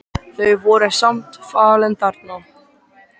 Þau voru sem sagt falin þarna.